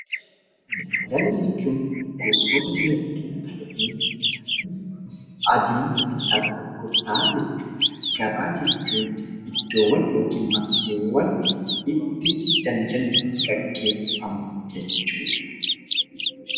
Daldala jechuun gosoota dinagdee ta'ee, adeemsa bittaaf gurgurtaa jechuudha. Gabaa jechuun iddoowwan yookiin bakkeewwan itti daldalli geeggeeffamu jechuudha.